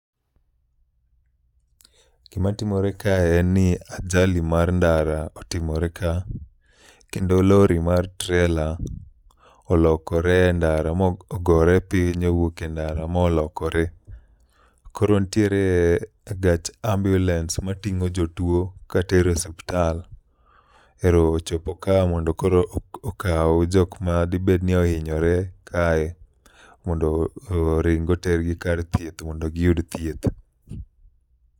Gima timore kae en ni ajali mar ndara otimore ka, kendo lori mar trela olokore e ndara mogore piny owuok e ndara molokore. Koro nitiere gach ambulance mating'o jotuo katere osiptal ero koro ochopo ka mondo okaw jok ma dibed ni ohinyore kae. Mondo oring otergi kar thieth modno giyud thieth.